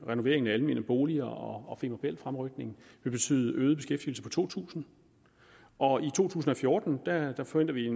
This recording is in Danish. renoveringen af almene boliger og finansiel fremrykning betyde en øget beskæftigelse på to tusind og i to tusind og fjorten forventer vi